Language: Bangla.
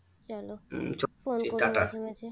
চলো phone করো মাঝে মাঝে